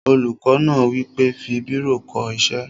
Olùkọ́ náà wí pé, "fi bírò kọ ṣé!"